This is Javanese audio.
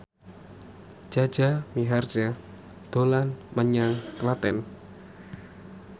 Jaja Mihardja dolan menyang Klaten